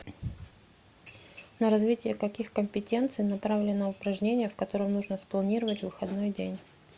на развитие каких компетенций направлено упражнение в котором нужно спланировать выходной день